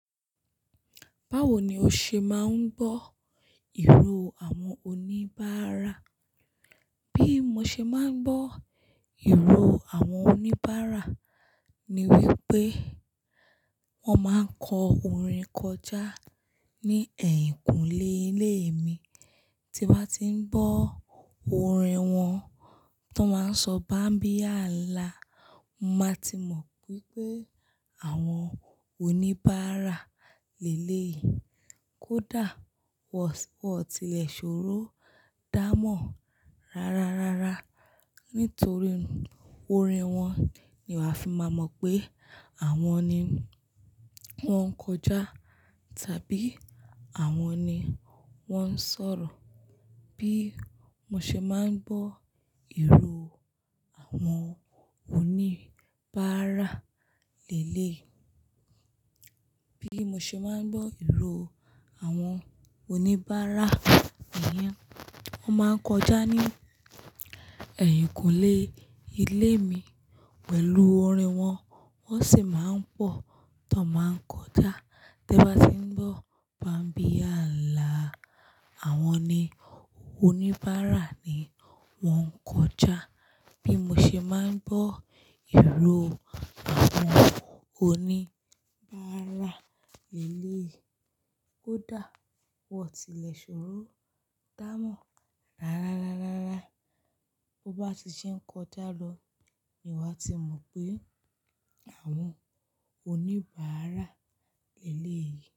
Báwo ni o ṣe máa ń gbọ́ ìró àwọn oníbàárà? Bí mo ṣe máa ń gbọ́ ìró àwọn oníbárà ni wípé wón máa ń kọ orin kọjá ní ẹ̀yìnkùlé ilé mi. Tí n bá tí ń gbọ́ orin wọn tan máa ń sọ "bámbíyála", mo máa ti mọ̀ wípé àwọn oníbárà léleyi. Kódà wọ́n sì wọn tilẹ̀ ṣòro dámọ̀ rárárárá. Nítorí orin wọn ni wa fi máa mọ̀ pé àwọn ni wón ń kọjá tàbí àwọn ni wón ń sọ̀rọ̀. Bí mo ṣe máa ń gbọ́ ìró àwọn oníbàárà léyè. Bí mo ṣe máa ń gbọ́ ìró àwọn oníbàárà niyèn, wọ́n máa ń kọjá ní ẹ̀yìnkùlé ilé mi pẹ̀lú orin wọn, wọ́n sì máa ń pọ̀ tan máa ń kọjá. Te bá ti ń gbọ́ "bámbíyála", àwọn ni oníbárà ni wọ́n ń kọjá. Bí mo ṣe máa ń gbọ́ ìró àwọn oníbárà leleyi. Kódà wọ́n tì lẹ̀ ṣòro dámọ̀ rárárárárá. To bá ti ṣe ń kọjá lọ ni wàá ti mọ̀ pé àwọn oníbárà lélèyi.